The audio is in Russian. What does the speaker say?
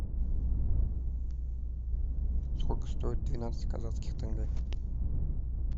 сколько стоит двенадцать казахских тенге